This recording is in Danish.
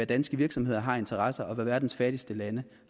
danske virksomheder har af interesser og hvad verdens fattigste lande